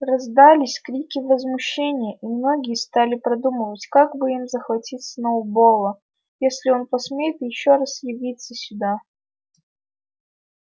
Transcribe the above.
раздались крики возмущения и многие стали продумывать как бы им захватить сноуболла если он посмеет ещё раз явиться сюда